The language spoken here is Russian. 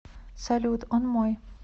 салют он мой